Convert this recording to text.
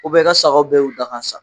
i ka sagaw bɛɛ y'u da ka sa.